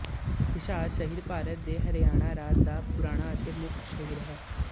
ਹਿਸਾਰ ਸ਼ਹਿਰ ਭਾਰਤ ਦੇ ਹਰਿਆਣਾ ਰਾਜ ਦਾ ਪੁਰਾਣਾ ਅਤੇ ਮੁੱਖ ਸ਼ਹਿਰ ਹੈ